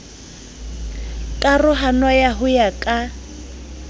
karohano ya ho ya ka